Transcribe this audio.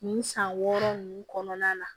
Nin san wɔɔrɔ nunnu kɔnɔna la